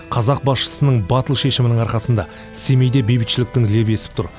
қазақ басшысының батыл шешімінің арқасында семейде бейбітшіліктің лебі есіп тұр